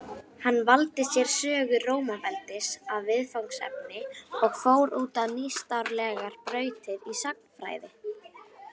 Hann valdi sér sögu Rómaveldis að viðfangsefni og fór út á nýstárlegar brautir í sagnfræði.